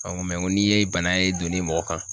n'i ye bana ye donni ye mɔgɔ kan